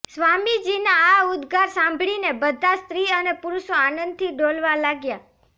સ્વામીજીના આ ઉદ્દગાર સાંભળી બધાં સ્ત્રી અને પુરુષો આનંદથી ડોલવા લાગ્યાં